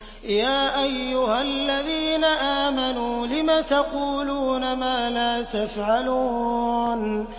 يَا أَيُّهَا الَّذِينَ آمَنُوا لِمَ تَقُولُونَ مَا لَا تَفْعَلُونَ